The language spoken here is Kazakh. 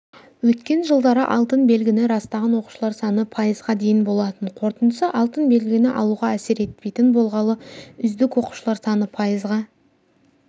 өткен жылдары алтын белгіні растаған оқушылар саны пайызға дейін болатын қорытындысы алтын белгіні алуға әсер етпейтін болғалы үздік оқушылар саны пайызға